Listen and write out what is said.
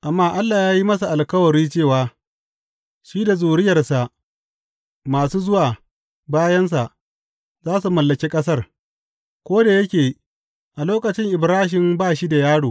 Amma Allah ya yi masa alkawari cewa shi da zuriyarsa masu zuwa bayansa za su mallaki ƙasar, ko da yake a lokacin Ibrahim ba shi da yaro.